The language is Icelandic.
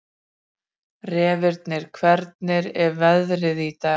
Reifnir, hvernig er veðrið í dag?